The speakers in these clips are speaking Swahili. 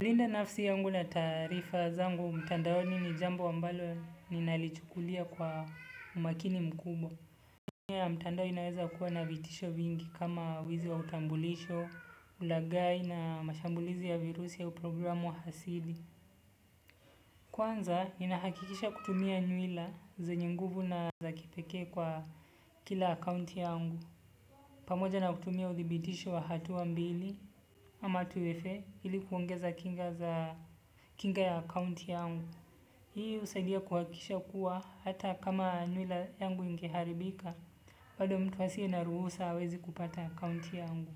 Walinda nafsi yangu na tarifa zangu, mtandao nini jambo ambalo ninalichukulia kwa umakini mkubwa. Kwa mtandao inaweza kuwa na vitisho vingi kama wizi wa utambulisho, ulagai na mashambulizi ya virusi au programu wa hasidi. Kwanza, ninahakikisha kutumia nyuila zenye nguvu na za kipeke kwa kila akaunti yangu. Pamoja na kutumia uthibitisho wa hatu wa mbili ama tuwefe hili kuongeza kinga za kinga ya akaunti yangu. Hii usaidia kuhakisha kuwa hata kama nywila yangu inkeharibika. Bado mtu asiye naruhusa hawezi kupata akaunti yangu.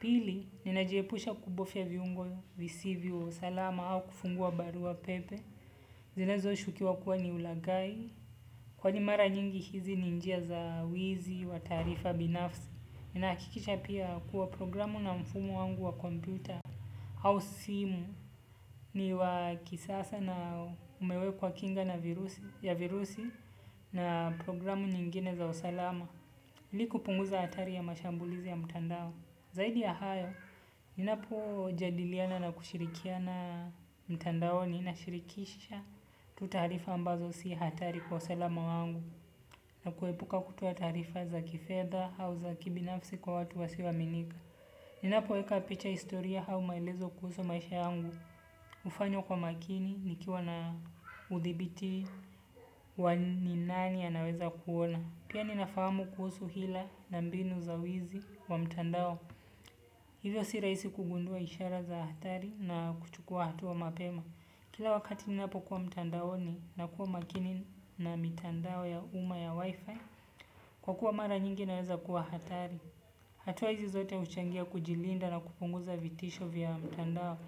Pili, ninajiepusha kubovya viungo visivyo salama au kufungua barua pepe zinezo shukiwa kuwa ni ulagai. Kwani mara nyingi hizi ni njia za wizi wa taarifa binafsi. Ninahakikisha pia kuwa programu na mfumo wangu wa kompyuta au simu ni wa kisasa na umewekwa kinga ya virusi na program zingine za usalama ili kupunguza hatari ya mashambulizi ya mtandao. Zaidi ya hayo, ninapo jadiliana na kushirikiana mtandaoni nashirikisha tu taarifa ambazo si hatari kwa usalama wangu. Na kuepuka kutoa taarifa za kifedha au za kibinafsi kwa watu wasioaminika. Ninapo weka picha historia au maelezo kuhusu maisha yangu. Hufanywa kwa makini nikiwa na udhibiti wa nini nani anaweza kuona. Pia ninafahamu kuhusu hila na mbinu za wizi wa mtandao. Hivyo si rahisi kugundua ishara za hatari na kuchukua hatua mapema. Kila wakati ninapokuwa mtandaoni nakuwa makini na mtandao ya umma ya wifi. Kwa kuwa mara nyingi inaweza kuwa hatari hatua hizi zote huchangia kujilinda na kupunguza vitisho vya mtandao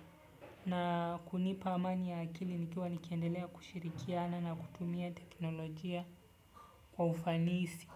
na kunipa amani ya akili nikiwa nikiendelea kushirikiana na kutumia teknolojia kwa ufanisi.